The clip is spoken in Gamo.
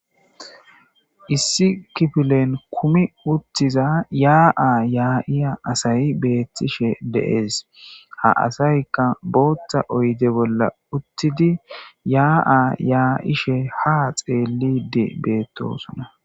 Issi kifilen kumi uttiza yaa7a yaa7iya asayi beettishe deees ha asaykka booththa oyde bolla uttidi yaa7a yaa7ishe ha xeellidi beettosona